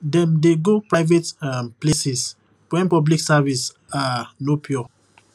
dem dey go private um places when public service um no pure